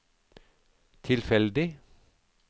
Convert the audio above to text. tilfeldig